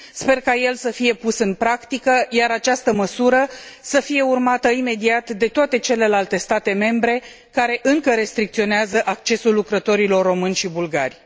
Sper ca el să fie pus în practică, iar această măsură să fie urmată imediat de toate celelalte state membre care încă restricționează accesul lucrătorilor români și bulgari.